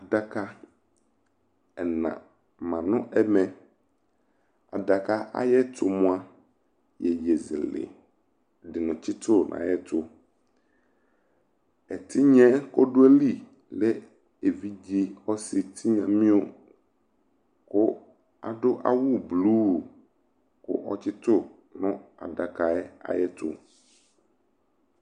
Adaka ɛna ma nʋ ɛmɛ Adaka ayɛtʋ moa, iyeyezɛlɛ di ni tsitʋ nʋ ayɛtʋ Ɛtinya ɛ kʋ adʋ ayili lɛ evidze ɔsi tinyamio kʋ adʋ awʋ bluu kʋ ɔtsitʋ nʋ adakayɛ ayɛtʋ